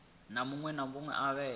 na muṅwe ane a vha